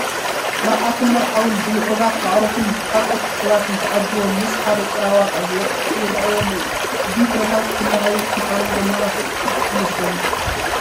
መርዓትን መርዓውን ብምዕሩጋት ኣዕሩኽን ካልኦት ሰባትን ተዓጂቦም ምስ ሓደ ጭራ ዋጣ ዝወቅዕ ይርአዩ ኣለዎ፡፡ እዚ ኩነታት ክለሃዩ ምዃኖም ዘምልክት እዩ ዝመስለኒ፡፡